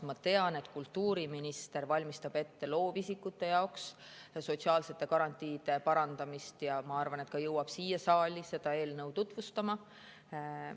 Ma tean, et kultuuriminister valmistab ette loovisikute sotsiaalsete garantiide parandamist, ja ma arvan, et ta jõuab siia saali seda eelnõu tutvustama.